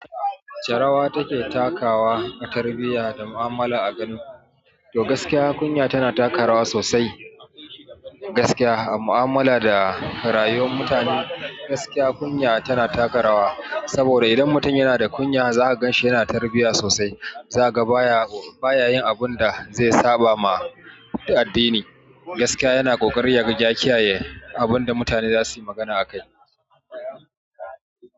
Charawa take takawa a tarbiyya da mu'amala a Kano. To gaskiya kunya tana taka rawa sosai. Gaskiya a mu'amala da rayuwar mutane, gaskiya kunya tana taka rawa. Saboda idan mutum yana da kunya za a ganshi yana da tarbiyya sosai. Za ka ba ya, ba ya yin abun da zai saba ma addini. Gaskiya yana kokarin ya jagoranci abun da mutane za su yi magana akai.